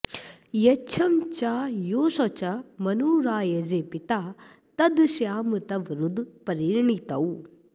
यच्छं च योश्च मनुरायजे पिता तदश्याम तव रुद्र प्रणीतौ